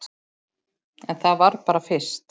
En það var bara fyrst.